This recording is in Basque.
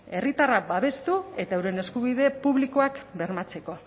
herritarrak babestu eta euren eskubide publikoak bermatzeko